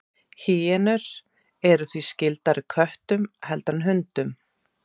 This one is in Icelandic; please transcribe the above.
Hýenur eru því skyldari köttum heldur en hundum.